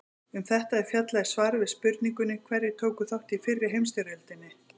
Um þetta er fjallað í svari við spurningunni Hverjir tóku þátt í fyrri heimsstyrjöldinni?